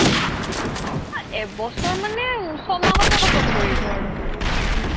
আ এবছৰ মানে ছমাহতে khatamকৰিব আৰু মানে